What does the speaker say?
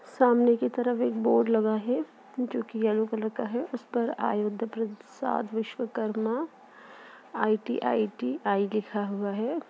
सामने के तरफ एक बोर्ड लगा है जो कि एल्लो कलर का है उस पर विश्वकर्मा आई_टी_आई_टी _आई लिखा हुआ है।